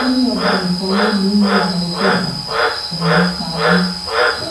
ó ní ọba nìkan ló ní alọ́kẹsàn erin pa mí ṣe